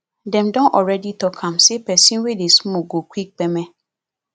dem don already talk am say pesin wey dey smoke go quick kpeme